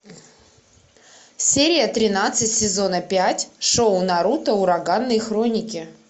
серия тринадцать сезона пять шоу наруто ураганные хроники